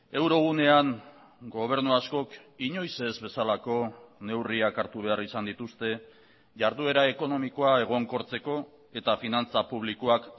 eurogunean gobernu askok inoiz ez bezalako neurriak hartu behar izan dituzte jarduera ekonomikoa egonkortzeko eta finantza publikoak